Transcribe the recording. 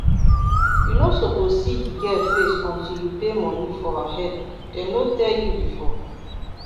you no suppose see the girl face until you pay money for her head dem no tell you before?